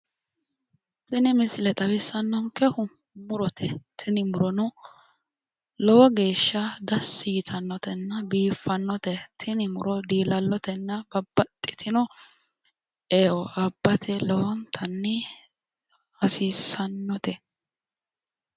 Tini misile xawissannonkehu murote. Tini murono lowo geeshsha dassi yitannotenna biiffannote. Tini muro diilallotenna babbaxxitino e"e abbate lowontanni hasiissannote.